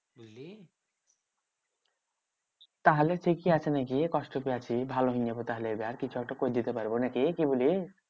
তাহলে ঠিকই আছে নাকি? কষ্ট পেয়ে আছি ভালো নিয়ে তাহলে এবার কিছু একটা করে যেতে পারবো না কি বলিস?